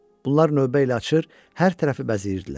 Bunlar növbə ilə açır, hər tərəfi bəzəyirdilər.